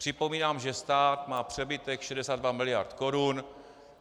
Připomínám, že stát má přebytek 62 mld. korun.